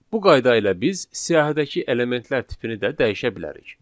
Bu qayda ilə biz siyahıdakı elementlər tipini də dəyişə bilərik.